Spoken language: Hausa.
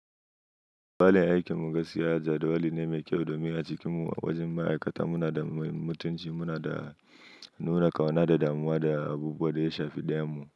Yanayin aikin mu gaskiya jadawali ne mai kyau, domin acikin mu a wajen ma'aikata muna da mutunci, munada nuna ƙauna da damuwa da abubuwan da ya shafi ɗayan mu.